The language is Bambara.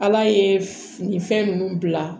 Ala ye nin fɛn ninnu bila